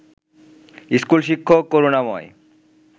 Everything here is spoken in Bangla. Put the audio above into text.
স্কুল শিক্ষক করুনাময়